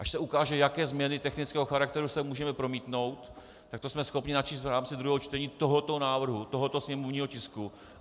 Až se ukáže, jaké změny technického charakteru sem můžeme promítnout, tak to jsme schopni načíst v rámci druhého čtení tohoto návrhu, tohoto sněmovního tisku.